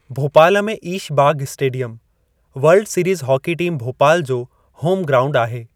भोपाल में Aish Bagh stadium world series hockey team Bhopal जो home ground आहे।